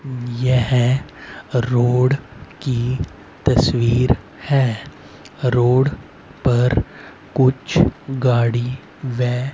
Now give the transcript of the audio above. यह रोड की तस्वीर है। रोड पर कुछ गाड़ी वे--